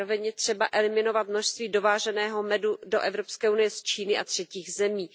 Zároveň je třeba eliminovat množství dováženého medu do EU z Číny a třetích zemí.